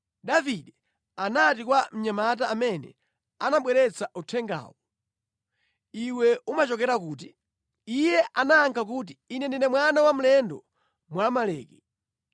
Davide anati kwa mnyamata amene anabweretsa uthengawo, “Iwe umachokera kuti?” Iye anayankha kuti, “Ine ndine mwana wa mlendo Mwamaleki.”